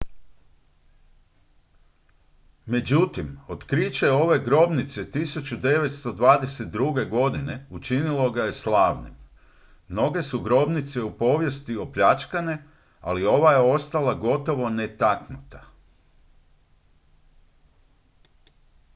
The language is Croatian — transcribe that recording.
međutim otkriće ove grobnice 1922. godine učinilo ga je slavnim mnoge su grobnice u povijesti opljačkane ali ova je ostala gotovo netaknuta